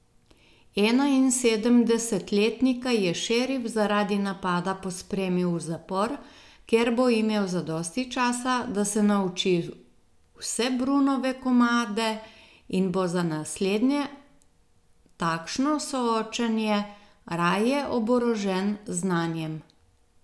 Enainsedemdesetletnika je šerif zaradi napada pospremil v zapor, kjer bo imel zadosti časa, da se nauči vse Brunove komade in bo za naslednje takšno soočenje raje oborožen z znanjem.